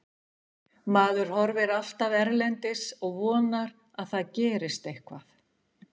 Maður horfir alltaf erlendis og vonar að það gerist eitthvað.